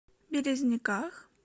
березниках